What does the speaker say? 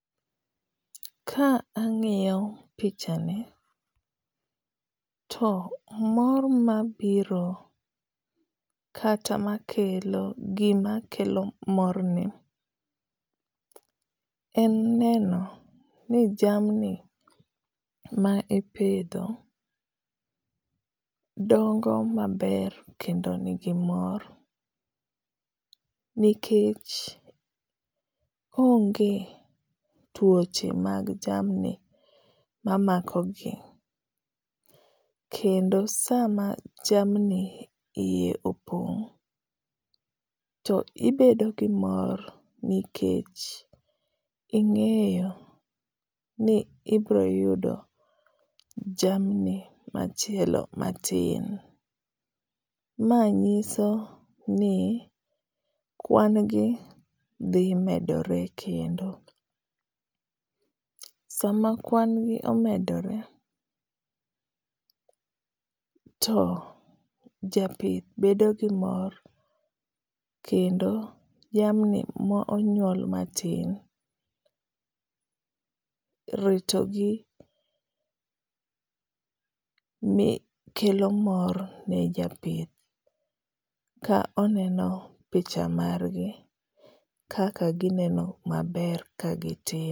Ka angíyo pichani to mor mabiro, kata makelo, gima kelo morni en neno ni jamni ma ipidho, dongo maber kendo nigi mor. Nikech onge twoche mag jamni mamako gi. Kendo sama jamni iye opong' to ibedo gi mor nikech ingéyo ni ibiro yudo jamni machielo matin. Ma nyiso ni kwan gi dhi medore kendo. Sama kwan gi omedore to japith bedo gi mor. Kendo jamni ma onyuol matin, ritogi kelo mor ne japith. Ka oneno picha margi kaka ginino ka gitindo.